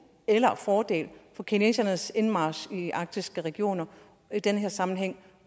eller fordel ved kinesernes indmarch i de arktiske regioner i den her sammenhæng